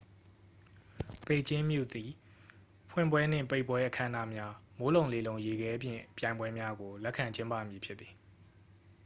ပေကျင်းမြို့သည် ဖွင့်ပွဲနှင့် ပိတ်ပွဲ အခမ်းအနားများ မိုးလုံလေလုံ ရေခဲပြင်ပြိုင်ပွဲများကို လက်ခံကျင်းပမည်ဖြစ်သည်